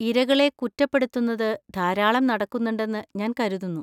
ഇരകളെ കുറ്റപ്പെടുത്തുന്നത് ധാരാളം നടക്കുന്നുണ്ടെന്ന് ഞാൻ കരുതുന്നു.